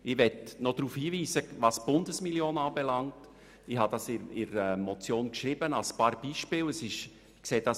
Was die Bundesmillion betrifft, möchte ich einige Beispiele aufführen.